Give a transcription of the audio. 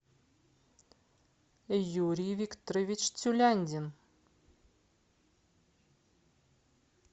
юрий викторович тюляндин